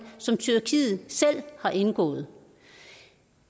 som tyrkiet selv har indgået